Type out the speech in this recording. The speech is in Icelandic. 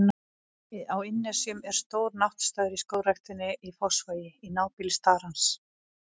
Á Innnesjum er stór náttstaður í Skógræktinni í Fossvogi, í nábýli starans.